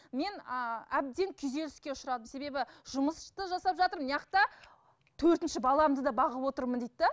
мені ыыы әбден күйзеліске ұшырадым себебі жұмыс та жасап жатырмын төртінші баламды да бағып отырмын дейді де